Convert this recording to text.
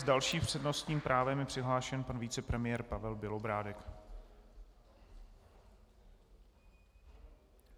S dalším přednostním právem je přihlášen pan vicepremiér Pavel Bělobrádek.